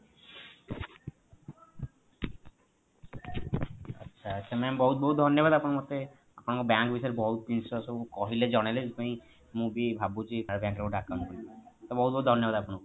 ଆଚ୍ଛା mam ବହୁତ ବହୁତ ଧନ୍ୟବାଦ ଆପଣ ମତେ ଆପଣଙ୍କ bank ବିଷୟ ରେ ବହୁତ ଜିନିଷ ସବୁ କହିଲେ ଜଣେଇଲେ ସେଥିପାଇଁ ମୁଁ ବି ଭାବୁଛି para bank ରେ ଗୋଟେ account ଖୋଲିବି ତା ବହୁତ ବହୁତ ଧନ୍ୟବାଦ ଆପଣଙ୍କୁ